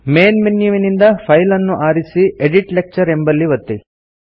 main ಮೆನ್ಯುವಿನಿಂದ file ಅನ್ನು ಆರಿಸಿ ಎಡಿಟ್ ಲೆಕ್ಚರ್ ಎಂಬಲ್ಲಿ ಒತ್ತಿ